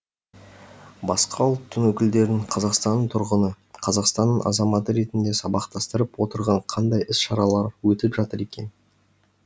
басқа ұлттың өкілдерін қазақстанның тұрғыны қазақстанның азаматы ретінде сабақтастырып отырған қандай іс шаралар өтіп жатыр екен